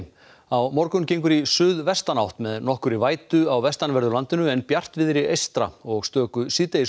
á morgun gengur í suðvestanátt með nokkurri vætu á vestanverðu landinu en bjartviðri eystra og stöku